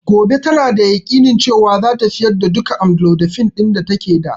Gobe tana da yakinin cewan zata sayar da duka amlodipine ɗin da take da